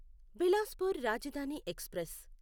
Bilaspur Rajdhani express